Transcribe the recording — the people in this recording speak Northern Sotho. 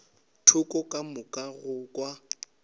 thoko ka thoma go kwa